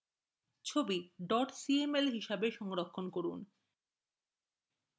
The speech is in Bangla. save cml হিসাবে সংরক্ষণ করা